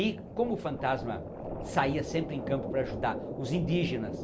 E como o fantasma saia sempre em campo para ajudar os indígenas,